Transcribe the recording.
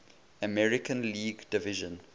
american league division